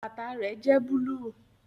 Bàtà rẹ jẹ́ búlúù